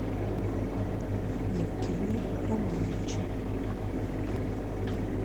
евгения романовича